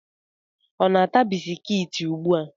Ọ na-ata bisikiti ugbu a?